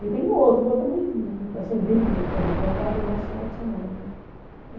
E tem o outro, o outro também, assim, vive muito com a gente, mas vai mais no final de semana, né?